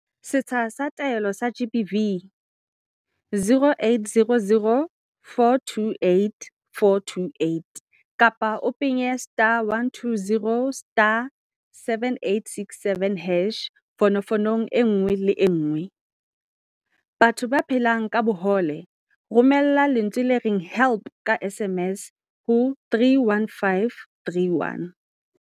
Setsha sa Taelo sa GBV, 0800 428 428 kapa o penye *120*7867# fonofonong e nngwe le e nngwe. Batho ba phelang ka bohole, Romela lentswe le reng 'help' ka SMS ho 31531.